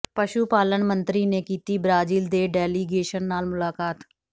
ਪਸ਼ੂ ਪਾਲਣ ਮੰਤਰੀ ਨੇ ਕੀਤੀ ਬ੍ਰਾਜ਼ੀਲ ਦੇ ਡੈਲੀਗੇਸ਼ਨ ਨਾਲ ਮੁਲਾਕਾਤ